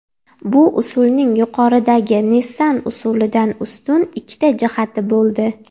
Bu usulning yuqoridagi Nissan usulidan ustun ikkita jihati bo‘ldi.